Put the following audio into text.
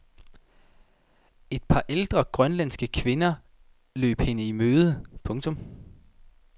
Et par ældre grønlandske kvinder løb hende i møde. punktum